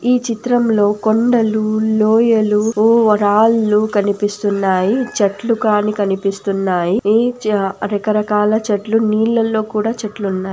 ఈ చిత్రం లో కొండలు లోయలు ఓ రాళ్ళు కనిపిస్తునాయి చెట్లు కాని కనిపిస్తునాయి ఈ చ రక్కరకల చెట్లు నీళ్ళలో కూడా చెట్లు ఉన్నాయి.